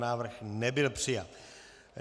Návrh nebyl přijat.